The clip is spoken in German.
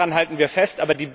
Daran halten wir fest.